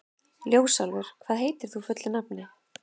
Ljósálfur, hvað heitir þú fullu nafni?